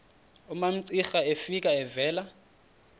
umamcira efika evela